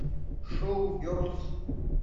шоу герлз